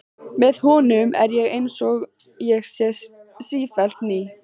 Með honum er ég einsog ég sé sífellt ný.